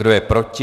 Kdo je proti?